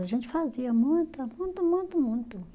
A gente fazia muita, muito, muito, muito.